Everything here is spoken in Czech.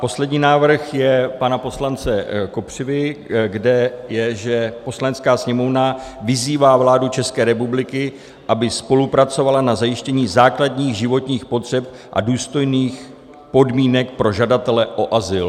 Poslední návrh je pana poslance Kopřivy, kde je, že: "Poslanecká sněmovna vyzývá vládu České republiky, aby spolupracovala na zajištění základních životních potřeb a důstojných podmínek pro žadatele o azyl."